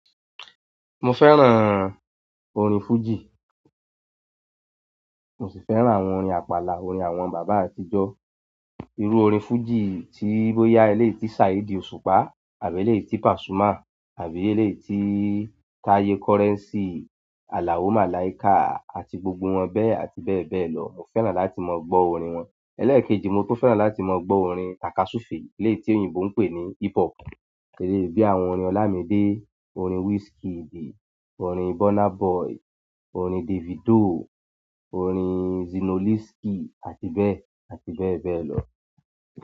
Mo fẹ́ràn orin fújì. Mo sì fẹ́ràn àwọn orin àpàlà, orin àwọn bàbá àtijọ́. Irú orin fújì tí bóyá eleyi tí Saheed Òṣùpá àbí eleyi tí Pasuma àbí eleyi tí Taye Currency, Alao Malaika àti gbogbo wọn bẹ́ẹ̀ àti bẹ́ẹ̀ bẹ́ẹ̀ lọ, mo fẹ́ràn láti ma gbọ́ orin wọn. Elẹ́ẹ̀kejì, mo tún fẹ́ràn láti mọ gbọ́ orin takasufe eléyìí tí òyìnbó ń pè ní hip hop. Eleyi bíi àwọn orin Olamide, orin Wizkid, orin Burna Boy, orin Davido, orin Zinoleesky, àti bẹ́ẹ̀ àti bẹ́ẹ̀ bẹ́ẹ̀ lọ.